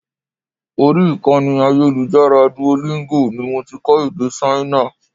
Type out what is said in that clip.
Orí ìkànnì ayélujára Duolingo ni mo ti kọ́ èdè Ṣáínà.